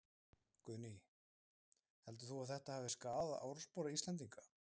Guðný: Heldur þú að þetta hafi skaðað orðspor Íslendinga?